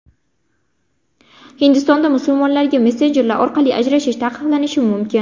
Hindistonda musulmonlarga messenjerlar orqali ajrashish taqiqlanishi mumkin.